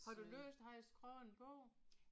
Har du læst han har skrevet en bog?